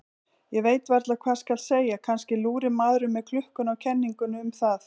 Ég veit varla hvað skal segja, kannski lúrir maðurinn með klukkuna á kenningum um það.